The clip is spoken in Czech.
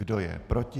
Kdo je proti?